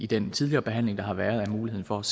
den tidligere behandling der har været af muligheden for at